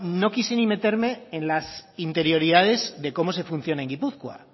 no quise ni meterme en las interioridades de cómo se funciona en gipuzkoa